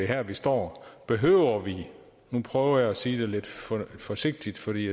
her vi står behøver vi nu prøver jeg at sige det lidt forsigtigt for de